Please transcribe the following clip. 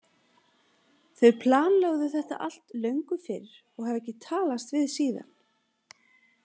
Þau planlögðu þetta allt löngu fyrr og hafa ekki talast við síðan.